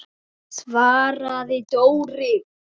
svaraði Dóri.